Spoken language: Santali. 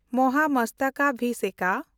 ᱢᱚᱦᱟᱢᱚᱥᱛᱟᱠᱟᱵᱷᱤᱥᱮᱠᱟ